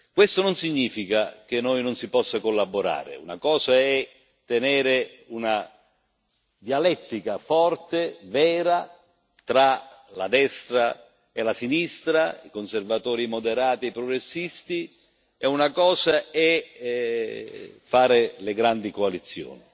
Questo non significa che noi non si possa collaborare una cosa è tenere una dialettica forte, vera tra la destra e la sinistra, i conservatori moderati e progressisti, e una cosa è fare le grandi coalizioni.